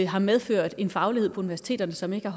har medført en faglighed på universiteterne som ikke